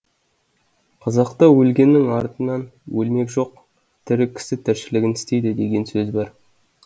қазақта өлгеннің артынан өлмек жоқ тірі кісі тіршілігін істейді деген сөз бар